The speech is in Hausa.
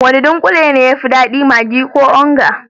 Wane dunkule ne ya fi dadi, maggi ko onga?